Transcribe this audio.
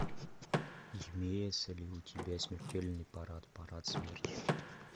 имеется ли у тебя смертельный парад парад смерти